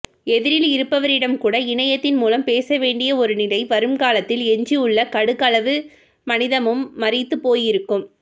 எதிரில் இருப்பவரிடம் கூட இணையத்தின் மூலம் பேசவேண்டிய ஒரு நிலை வரும் காலத்தில் எஞ்சியுள்ள கடுகளவு மனிதமும் மரித்துப் போயிருக்கும்